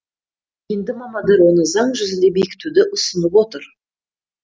енді мамандар оны заң жүзінде бекітуді ұсынып отыр